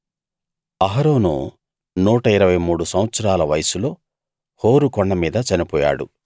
అహరోను 123 సంవత్సరాల వయసులో హోరు కొండమీద చనిపోయాడు